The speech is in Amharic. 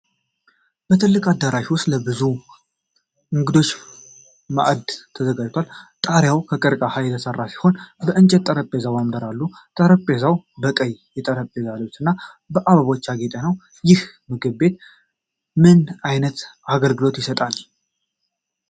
በትልቁ አዳራሽ ውስጥ ለብዙ እንግዶች ማዕድ ተዘርግቷል። ጣሪያው ከቀርከሃ የተሰራ ሲሆን የእንጨት ጠረጴዛና ወንበሮች አሉ። ጠረጴዛው በቀይ የጠረጴዛ ልብስና በአበቦች ያጌጠ ነው። ይህ ምግብ ቤት ምን አይነት አገልግሎት ይሰጣል?